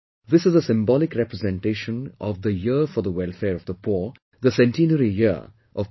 This is a symbolic representation of the 'Year for the Welfare of the Poor', the centenary year of Pt